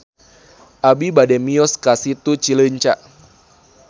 Abi bade mios ka Situ Cileunca